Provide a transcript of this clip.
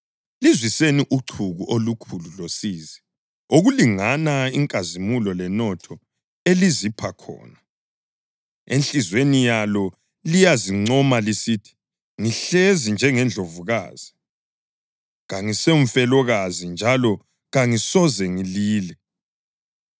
Lizwiseni uchuku olukhulu losizi okulingana inkazimulo lenotho elizipha khona.” + 18.7 U-Isaya 47.7-8 Enhliziyweni yalo liyazincoma lisithi, ngihlezi njengendlovukazi; kangisumfelokazi, njalo kangisoze ngilile.